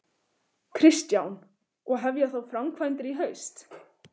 Kristján: Og hefja þá framkvæmdir í haust?